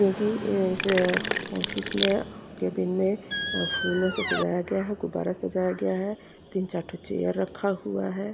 क्योंकि इस ऑफिस में केबिन में फूलों से सजाया गया है गुब्बारों से सजाया गया है तीन चार ठो चेयर रखा हुआ है।